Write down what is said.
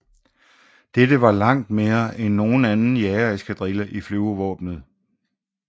Dette var langt mere end nogen anden jagereskadrille i Flyvevåbnet